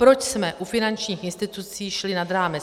Proč jsme u finančních institucí šli nad rámec?